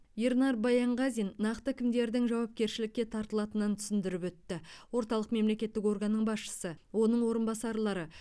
ернар баянғазин нақты кімдердің жауапкершілікке тартылатынын түсіндіріп өтті орталық мемлекеттік органның басшысы оның орынбасарлары